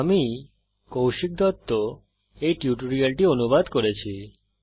আমি কৌশিক দত্ত এই টিউটোরিয়ালটি অনুবাদ করেছি